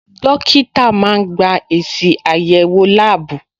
Dókítà máa gba èsì àyẹ̀wò láàbù.